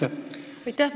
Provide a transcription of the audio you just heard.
Aitäh!